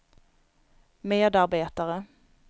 medarbetare